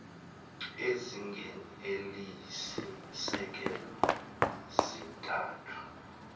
ezingeni eliyisisekelo zintathu